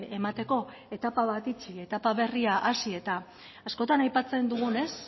emateko etapa bat itxi etapa berria hasi eta askotan aipatzen dugunez